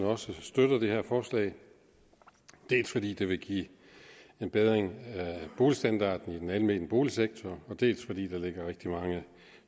også støtter det her forslag dels fordi det vil give en bedre boligstandard i den almene boligsektor dels fordi der ligger rigtig mange